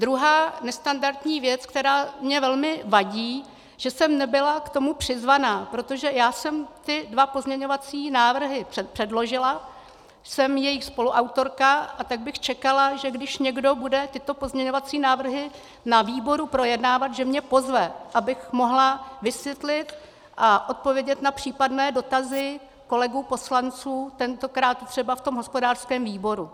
Druhá nestandardní věc, která mi velmi vadí, že jsem nebyla k tomu přizvána, protože já jsem ty dva pozměňovací návrhy předložila, jsem jejich spoluautorka, a tak bych čekala, že když někdo bude tyto pozměňovací návrhy na výboru projednávat, že mě pozve, abych mohla vysvětlit a odpovědět na případné dotazy kolegů poslanců, tentokrát třeba v tom hospodářském výboru.